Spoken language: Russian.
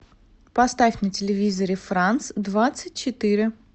поставь на телевизоре франс двадцать четыре